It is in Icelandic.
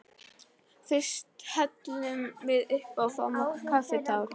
Fyrst hellum við uppá og fáum okkur kaffitár.